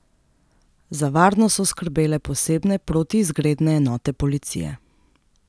Za varnost so skrbele posebne protiizgredne enote policije.